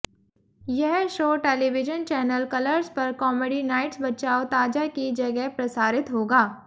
यह show television channel Colors पर comedy nights Bachao Taaza की जगह प्रसारित होगा